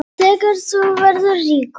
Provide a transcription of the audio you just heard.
Þegar þú verður ríkur?